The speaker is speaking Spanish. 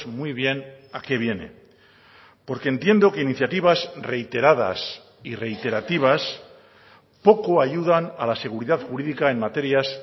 muy bien a qué viene porque entiendo que iniciativas reiteradas y reiterativas poco ayudan a la seguridad jurídica en materias